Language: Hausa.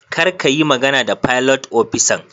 kar kayi magana da filot opisan.